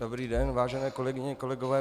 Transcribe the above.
Dobrý den, vážené kolegyně, kolegové.